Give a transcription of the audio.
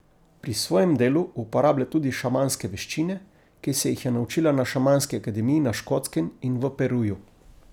Pri svojem delu uporablja tudi šamanske veščine, ki se jih je naučila na šamanski akademiji na Škotskem in v Peruju.